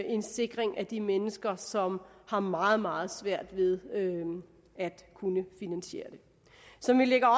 en sikring af de mennesker som har meget meget svært ved at kunne finansiere det som vi lægger